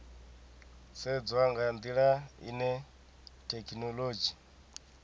sedzwa nga ndila ine thekhinolodzhi